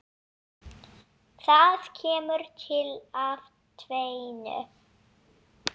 Það kemur til af tvennu.